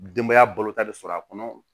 Denbaya balota de sɔrɔ a kɔnɔ